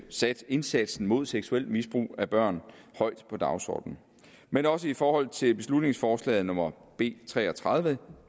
sat indsatsen mod seksuelt misbrug af børn højt på dagsordenen men også i forhold til beslutningsforslag nummer b tre og tredive